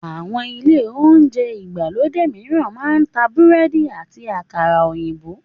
Àwọn ilé oúnjẹ ìgbàlódé mìíran máa ń ta búrẹ́dì àti àkàrà òyìnbó